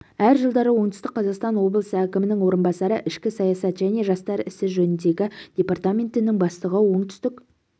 әр жылдары оңтүстік қазақстан облысы әкімінің орынбасары ішкі саясат және жастар ісі жөніндегі департаментінің бастығы оңтүстік